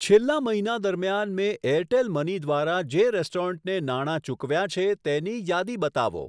છેલ્લા મહિના દરમિયાન મેં એરટેલ મની દ્વારા જે રેસ્ટોરન્ટને નાણા ચૂકવ્યાં છે તેની યાદી બતાવો.